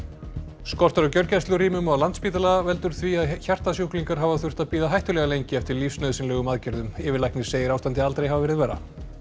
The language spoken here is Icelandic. skortur á gjörgæslurýmum á Landspítala veldur því að hjartasjúklingar hafa þurft að bíða hættulega lengi eftir lífsnauðsynlegum aðgerðum yfirlæknir segir ástandið aldrei hafa verið verra